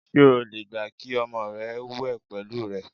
S̩e o lè gbà kí o̩mo̩ re̩ wè̩ pè̩lú rè̩?